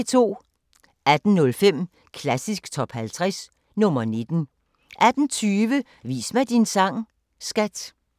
18:05: Klassisk Top 50 – nr. 19 18:20: Vis mig din sang, skat!